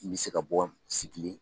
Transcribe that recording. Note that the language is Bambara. N bɛ se ka bɔ sigilen.